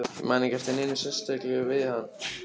Ég man ekki eftir neinu sérkennilegu við hann.